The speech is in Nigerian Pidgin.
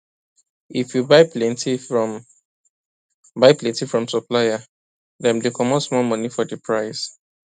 if you buy plenty from buy plenty from supplier dem dey comot small money for the price